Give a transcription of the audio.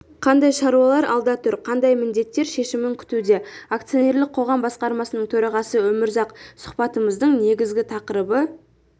қандай шаруалар алда тұр қандай міндеттер шешімін күтуде акционерлік қоғам басқармасының төрағасы өмірзақ сұхбатымыздың негізгі тақырыбы